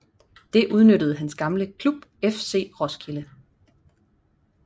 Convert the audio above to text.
Det udnyttede hans gamle klub FC Roskilde